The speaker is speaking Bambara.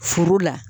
Furu la